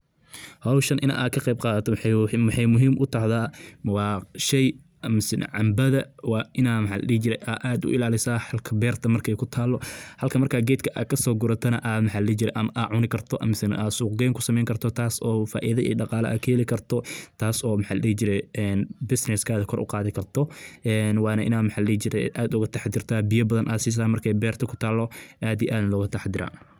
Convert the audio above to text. Howshan inaad ka qeyb qaadato waxay muhim utahaywa sheey masne cambada inad aad uilalisa berta markay kutalo, halkii markad gedka kasogurutana aa cuni karto masne suuq geyn kusameyni karto taas oo faido iyo daqala aa kahelii karto taas oo bisness kada koor uqadi karto, wana inad ad ugutaxdarto markay berto kutalo aad iyo aad ugu taxadarka.